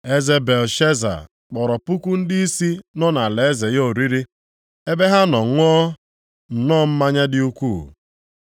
Eze Belshaza, kpọrọ puku ndịisi nọ nʼalaeze ya oriri, ebe ha nọ ṅụọ nnọọ mmanya dị ukwuu.